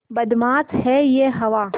बदमाश है यह हवा